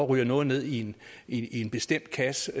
ryger ned i i en bestemt kasse